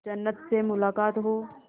जन्नत से मुलाकात हो